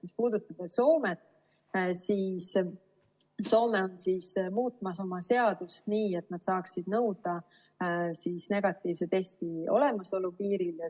Mis puudutab Soomet, siis Soome on muutmas oma seadust nii, et nad saaksid nõuda negatiivse testi olemasolu piiril.